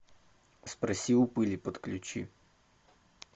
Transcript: спроси у пыли подключи